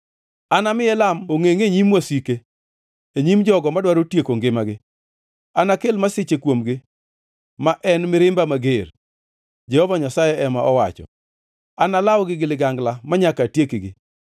Anami Elam ongʼengʼ e nyim wasike, e nyim jogo madwaro tieko ngimagi; anakel masiche kuomgi, ma en mirimba mager,” Jehova Nyasaye ema owacho. “Analawgi gi ligangla manyaka atiekgi.”